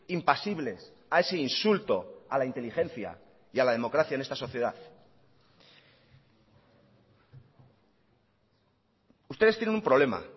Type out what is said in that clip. impasibles a ese insulto a la inteligencia y a la democracia en esta sociedad ustedes tienen un problema